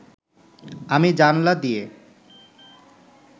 আমি জানলা দিয়ে